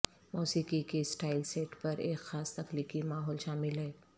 موسیقی کی style set پر ایک خاص تخلیقی ماحول شامل ہے